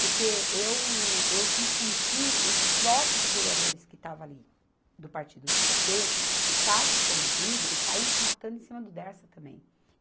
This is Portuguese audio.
Porque eu, eu fiz com que os próprios vereadores que estavam ali do partido do Pê Tê ficasse comovido e caísse matando em cima do Dersa também.